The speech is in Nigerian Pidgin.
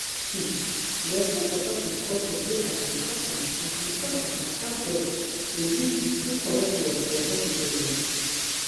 hmmm respect for peson culture dey as important as important as how doc dey do true true correct work for hospital dem.